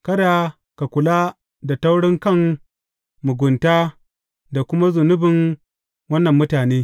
Kada ka kula da taurinkan, mugunta da kuma zunubin wannan mutane.